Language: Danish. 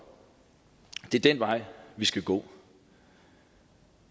det er den vej vi skal gå